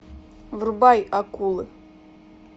врубай акулы